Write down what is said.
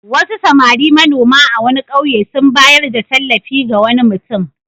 Wasu samari manoma a wani ƙauye sun bayar da tallafi ga wani mutum.